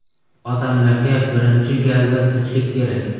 Odamlarga birinchi galda tinchlik kerak.